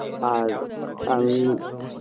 আর আমি